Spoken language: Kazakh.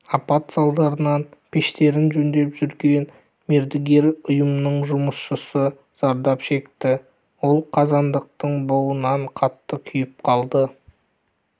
апат салдарынан пештерін жөндеп жүрген мердігер ұйымның жұмысшысы зардап шекті ол қазандықтың буынан қатты күйіп қалды